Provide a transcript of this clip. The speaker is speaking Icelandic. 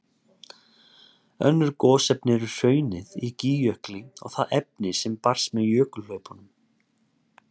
Önnur gosefni eru hraunið í Gígjökli og það efni sem barst með jökulhlaupum.